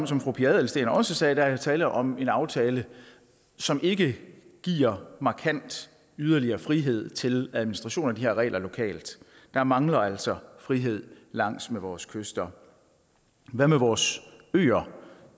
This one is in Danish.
som fru pia adelsteen også sagde tale om en aftale som ikke giver markant yderligere frihed til administration af de her regler lokalt der mangler altså frihed langs med vores kyster hvad med vores øer